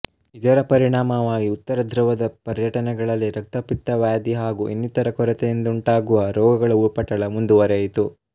ಇದರ ಪರಿಣಾಮವಾಗಿ ಉತ್ತರ ಧೃವದ ಪರ್ಯಟನೆಗಳಲ್ಲಿ ರಕ್ತಪಿತ್ತವ್ಯಾಧಿ ಹಾಗೂ ಇನ್ನಿತರ ಕೊರತೆಯಿಂದುಂಟಾಗುವ ರೋಗಗಳ ಉಪಟಳ ಮುಂದುವರೆಯಿತು